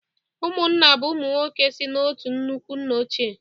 Ụmụnna bụ ụmụ nwoke si n'otu nnukwu nna ochie